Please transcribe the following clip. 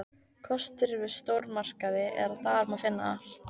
Kosturinn við stórmarkaði er að þar má finna allt.